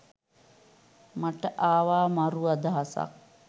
මට ආවා මරු අදහසක්.